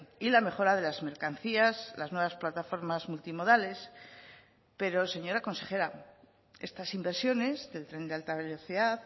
y la mejora de las mercancías las nuevas plataformas multimodales pero señora consejera estas inversiones del tren de alta velocidad